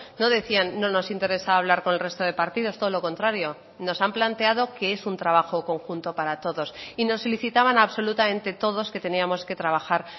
no decían no nos interesa hablar con el resto de partidos todo lo contrario nos han planteado que es un trabajo conjunto para todos y nos solicitaban absolutamente todos que teníamos que trabajar